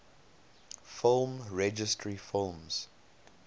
film registry films